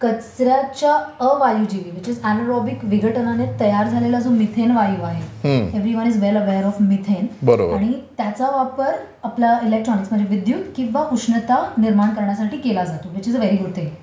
कचऱ्याच्या अवायु विघटनामुळे म्हणजे अनारोबिक विघटनामुळे तयार झालेला जो मिथेन वायू आहे everyone is well aware of methane आणि त्याचा वापर आपल्या इलेक्ट्रॉनिक्स म्हणजे विद्युत किंवा उष्णता निर्माण करण्यासाठी केला जातो which is a very good thing.